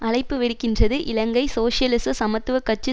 அழைப்பு விடுக்கின்றது இலங்கை சோசியலிச சமத்துவ கட்சி